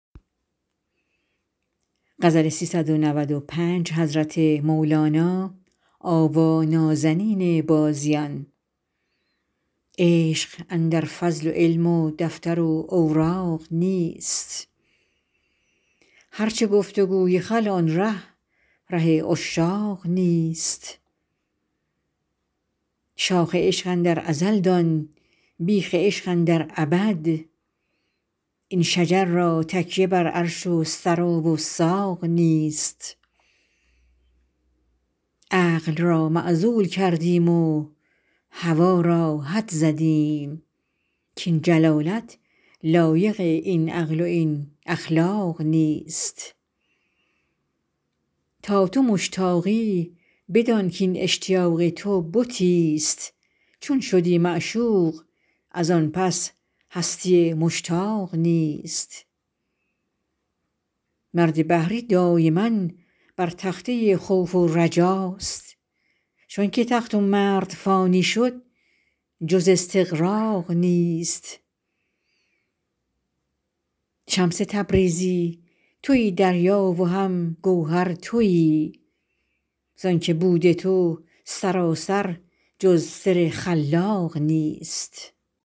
عشق اندر فضل و علم و دفتر و اوراق نیست هر چه گفت و گوی خلق آن ره ره عشاق نیست شاخ عشق اندر ازل دان بیخ عشق اندر ابد این شجر را تکیه بر عرش و ثری و ساق نیست عقل را معزول کردیم و هوا را حد زدیم کاین جلالت لایق این عقل و این اخلاق نیست تا تو مشتاقی بدان کاین اشتیاق تو بتی است چون شدی معشوق از آن پس هستیی مشتاق نیست مرد بحری دایما بر تخته خوف و رجا است چونک تخته و مرد فانی شد جز استغراق نیست شمس تبریزی توی دریا و هم گوهر توی زانک بود تو سراسر جز سر خلاق نیست